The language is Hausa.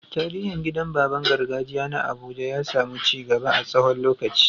Tsarin gidan baban gargajiya na Abuja ya samu ci gaba a tsawon lokaci.